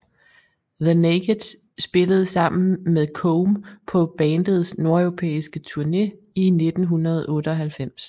The Naked spillede sammen med Come på bandets nordeuropæiske tourne i 1998